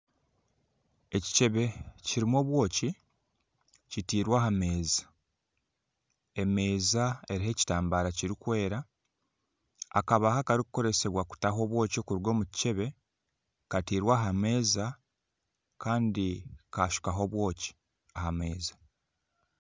Ekicebe kirimu obwoki kitairwe aha meeza emeeza eriho ekitambaara kirikwera akabaho akarikukoresibwa kutaho obwoki kuruga omukicebe kateirwe aha meeza Kandi kashukwaho obwoki kuruga aha meeza